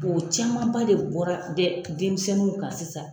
O caman ba de bɔra dɛ denmisɛnninw kan sisan.